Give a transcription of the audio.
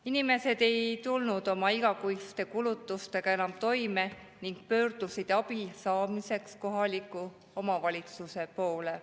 Inimesed ei tulnud oma igakuiste kulutustega enam toime ning pöördusid abi saamiseks kohaliku omavalitsuse poole.